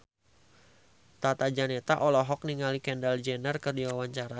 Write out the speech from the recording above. Tata Janeta olohok ningali Kendall Jenner keur diwawancara